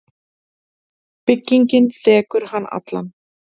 Byggingin þekur hann allan.